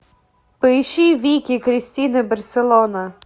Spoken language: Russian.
поищи вики кристина барселона